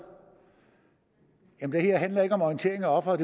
det her handler ikke om orientering af offeret